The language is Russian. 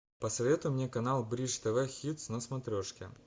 посоветуй мне канал бридж тв хитс на смотрешке